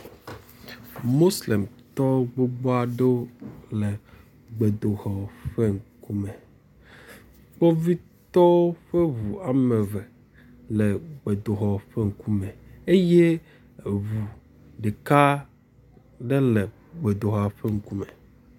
Moslemtɔ gbogbo aɖe le gbedoxɔ ƒe kume. Kpovitɔwo ƒe ŋu wɔme eve le gbedoɔa ƒe ŋkume eye eŋu ɖeka aɖe le gbedoxɔa ƒe ŋkume.